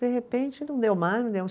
De repente não deu mais